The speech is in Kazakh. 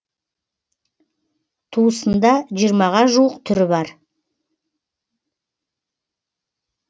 туысында жиырмаға жуық түрі бар